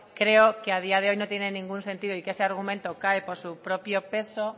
creo que a día de hoy no tiene ningún sentido y que ese argumento cae por su propio peso